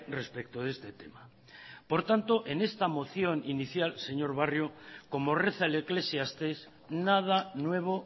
respecto de este tema por tanto en esta moción inicial señor barrio como reza el eclesiastés nada nuevo